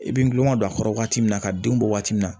I bɛ nulon ka don a kɔrɔ waati min na ka denw bɔ waati min na